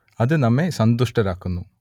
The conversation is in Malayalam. അത് നമ്മെ സന്തുഷ്ടരുമാക്കുന്നു